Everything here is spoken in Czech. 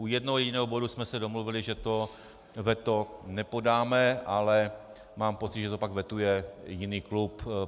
U jednoho jediného bodu jsme se domluvili, že to veto nepodáme, ale mám pocit, že to pak vetuje jiný klub.